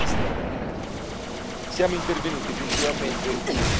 Siamo intervenuti principalmente in quattro dimensioni.